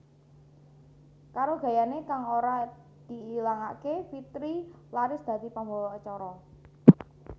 Karo gayané kang ora diilangaké Fitri laris dadi pambawa acara